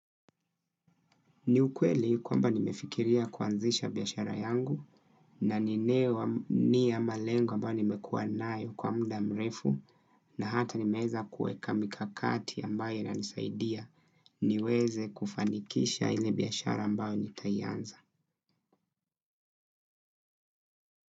Niukweli kwamba nimefikiria kuanzisha biashara yangu na ninewa niya malengo ambayo nimekuwa nayo kwa mda mrefu na hata nimeweza kueka mikakati ambayo inanisaidia niweze kufanikisha ile biashara ambayo nitaianza.